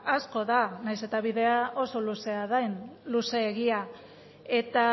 asko da nahiz eta bidea oso luzea den luzeegia eta